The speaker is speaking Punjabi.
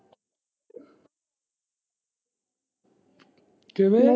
ਕਿਵੇਂ।